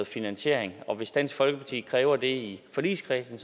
finansiering og hvis dansk folkeparti kræver det i forligskredsen